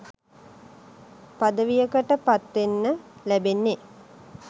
පදවියකට පත්වෙන්න ලැබෙන්නේ.